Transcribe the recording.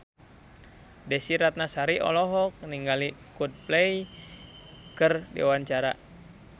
Desy Ratnasari olohok ningali Coldplay keur diwawancara